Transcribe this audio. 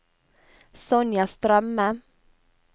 Sonja Strømme